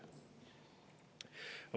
Kolm minutit lisaaega, palun!